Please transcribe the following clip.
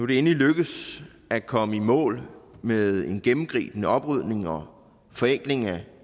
det endelig lykkedes at komme i mål med en gennemgribende oprydning og forenkling af